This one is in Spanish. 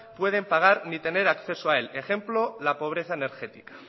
pueden pagar ni tener acceso a él ejemplo la pobreza energética